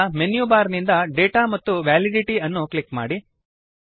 ಈಗ menu bar ನಿಂದ data ಮತ್ತು ವ್ಯಾಲಿಡಿಟಿ ಅನ್ನು ಕ್ಲಿಕ್ ಮಾಡಿ